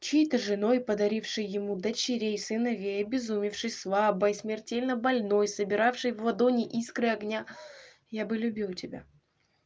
чьей-то женой подарившей ему дочерей сыновей обезумевший слабой смертельно больной собиравший в ладони искры огня я бы любил тебя